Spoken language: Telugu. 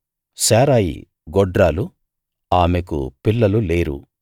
శారయి గొడ్రాలు ఆమెకు పిల్లలు లేరు